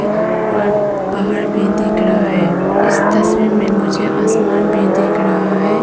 और पहाड़ भी दिख रहा है इस तस्वीर में मुझे आसमान भी दिख रहा है।